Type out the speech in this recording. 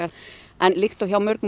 en líkt og hjá mörgum